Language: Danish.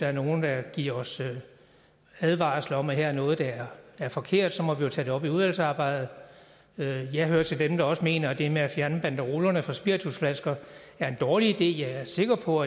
er nogen der giver os advarsler om at her er der noget der er forkert så må vi jo tage det op i udvalgsarbejdet jeg hører til dem der også mener at det med at fjerne banderolerne fra spiritusflasker er en dårlig idé jeg er sikker på